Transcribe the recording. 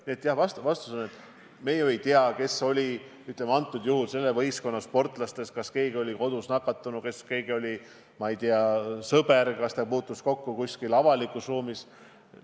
Nii et jah, vastus on, et me ju ei tea, kes oli antud juhul selle võistkonna sportlastest nakatunud – kas keegi oli kodus nakatunud, kas kellegi sõber oli nakatunud, kas ta puutus kuskil avalikus ruumis kellegagi kokku.